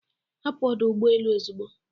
Hapụ ọdụ ụgbọ elu ozugbo